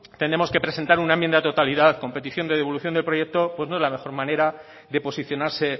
tenemos que presentar una enmienda de totalidad con petición de devolución del proyecto pues no es la mejor manera de posicionarse